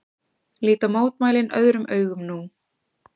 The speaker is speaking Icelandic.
Líta mótmælin öðrum augum nú